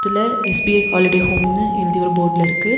ல SBI holiday ஹோம்னு எழுதி ஒரு போர்டுல இருக்கு.